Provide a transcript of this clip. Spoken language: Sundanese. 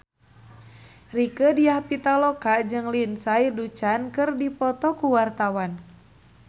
Rieke Diah Pitaloka jeung Lindsay Ducan keur dipoto ku wartawan